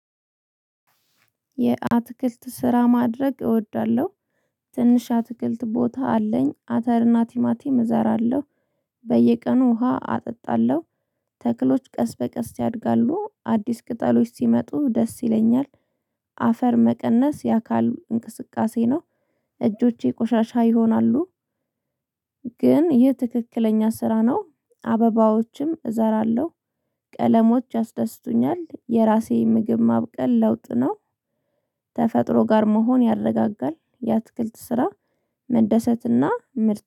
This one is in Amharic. የአትክልት ስራ ማድረግ እወዳለሁ። ትንሽ አትክልት ቦታ አለኝ አተር እና ቲማቲም እዘራለሁ። በየቀኑ ውሃ አጠጣለሁ። ተክሎች ቀስ በቀስ ያድጋሉ አዲስ ቅጠሎች ሲመጡ ደስ ይለኛል። አፈር መቀነስ የአካል እንቅስቃሴ ነው። እጆቼ ቆሻሻ ይሆናሉ። ግን ይህ ትክክለኛ ስራ ነው። አበባዎችም እዘራለሁ። ቀለሞች አስደስቶኛል የራሴ ምግብ ማብቀል ለውጥ ነው። ተፈጥሮ ጋር መሆን ያረጋጋል። የአትክልት ስራ መደሰትና ምርጥ